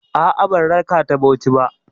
A'a, ban raka ta Bauchi ba.